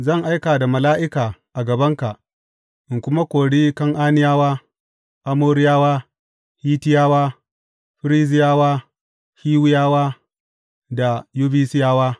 Zan aika da mala’ika a gabanka in kuma kori Kan’aniyawa, Amoriyawa, Hittiyawa, Ferizziyawa, Hiwiyawa da Yebusiyawa.